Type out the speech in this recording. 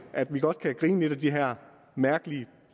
at vi godt kan grine lidt af de her mærkelige